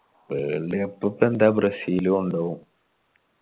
world cup ഇപ്പൊ എന്താ Brazil കൊണ്ടോവും